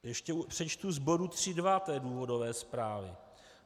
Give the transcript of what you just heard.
Ještě přečtu z bodu 3.2 důvodové zprávy.